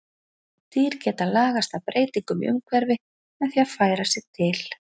Dýr geta lagast að breytingum í umhverfi með því að færa sig til.